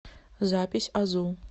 запись азу